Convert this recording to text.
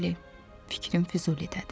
Bəli, fikrim Füzulidədir.